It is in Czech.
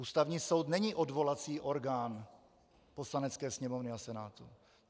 Ústavní soud není odvolací orgán Poslanecké sněmovny a Senátu.